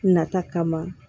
Nata kama